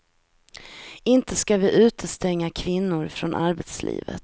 Inte ska vi utestänga kvinnor från arbetslivet.